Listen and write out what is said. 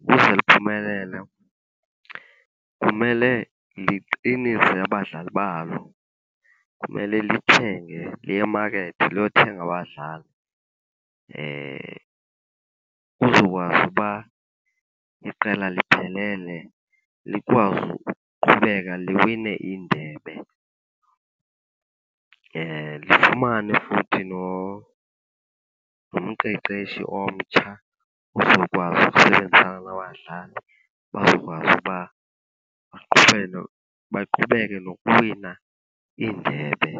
ukuze liphumelele kumele liqinise abadlali balo. Kumele lithenge, liye emakethi liyothenga abadlali kuzokwazi uba iqela liphelele likwazi ukuqhubeka liwine iindebe. Lifumane futhi nomqeqeshi omtsha ozokwazi ukusebenzisana nabadlali bazokwazi uba baqhubele, baqhubeke nokuwina iindebe .